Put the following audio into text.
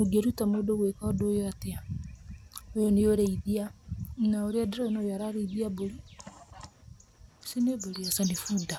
Ũngĩruta mũndũ atĩa gwĩka ũndũ ũyũ? Ũyũ nĩ ũrĩithia, na ũrĩa ndĩrona ũyũ araríĩthia mbũri. Ici nĩ mbũri? Aca nĩ bunda.